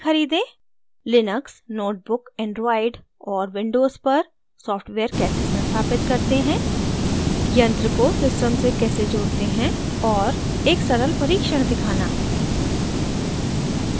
Linux netbook android और windows पर software कैसे संस्थापित करते हैं यंत्र को सिस्टम से कैसे जोड़ते हैं और एक सरल परीक्षण दिखाना